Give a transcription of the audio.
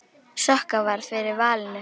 Sokka varð fyrir valinu.